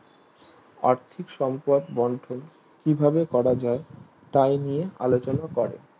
আর্থিক সঙ্কট বন্টন কিভাবে করা যায় তাই নিয়ে আলোচনা করে